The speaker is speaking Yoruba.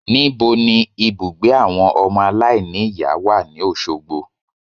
Níbo ni ibùgbé àwọn ọmọ aláìníìyá wà ní Òsogbo